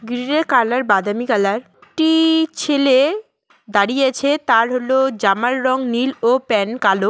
Colour বাদামি colour টি ছেলে দাঁড়িয়ে আছে তার হল জামার রং নীল ও প্যান কালো।